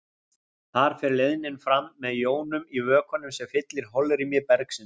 Þar fer leiðnin fram með jónum í vökvanum sem fyllir holrými bergsins.